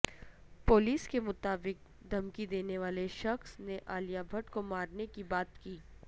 police کے مطابق دھمکی دینے والے شخض نے عالیہ بھٹ کو مارنے کی بات کہی